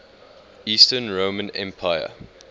eastern roman empire